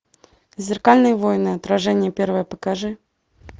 зеркальные войны отражение первое покажи